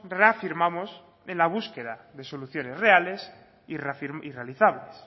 reafirmamos en la búsqueda de soluciones reales y realizables